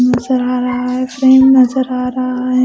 नजर आ रहा है प्रेम नजर आ रहा है ।